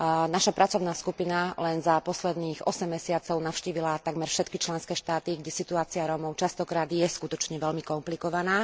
Naša pracovná skupina len za posledných osem mesiacov navštívila takmer všetky členské štáty, kde je situácia Rómov mnohokrát skutočne veľmi komplikovaná.